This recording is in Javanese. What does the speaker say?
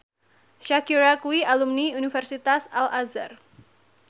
Shakira kuwi alumni Universitas Al Azhar